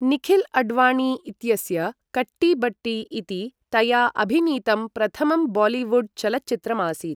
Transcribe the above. निखिल् अडवाणी इत्यस्य कट्टी बट्टी इति तया अभिनीतं प्रथमं बालिवुड् चलच्चित्रमासीत्।